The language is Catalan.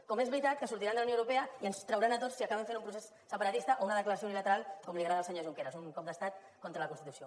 com és veritat que sortiran de la unió europea i ens trauran a tots si acaben fent un procés separatista o una declaració unilateral com li agrada al senyor junqueras un cop d’estat contra la constitució